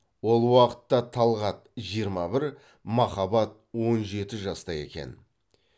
ол уақытта талғат жиырма бір махаббат он жеті жаста екен